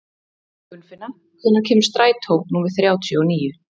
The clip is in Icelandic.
Gunnfinna, hvenær kemur strætó númer þrjátíu og níu?